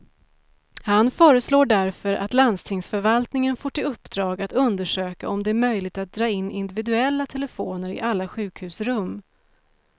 Han föreslår därför att landstingsförvaltningen får till uppdrag att undersöka om det är möjligt att dra in individuella telefoner i alla sjukhusrum.